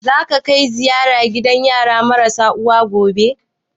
Za ka kai ziyara gidan yara marasa uwa gobe?